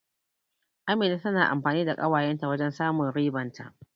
Amina tana amfani da ƙawayen ta wajen samun riban ta.